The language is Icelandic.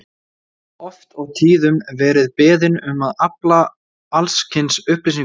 Ég hef oft og tíðum verið beðinn um að afla alls kyns upplýsinga um